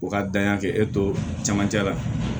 U ka danya kɛ e to camancɛ la